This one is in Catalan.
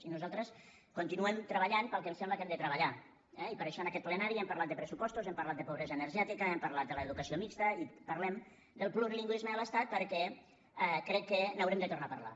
i nosaltres continuem treballant pel que em sembla que hem de treballar eh i per això en aquest plenari hem parlat de pressupostos hem parlat de pobresa energètica hem parlat de l’educació mixta i parlem del plurilingüisme a l’estat perquè crec que n’haurem de tornar a parlar